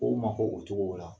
KOw ma k'o cogo la.